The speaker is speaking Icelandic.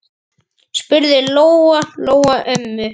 spurði Lóa-Lóa ömmu.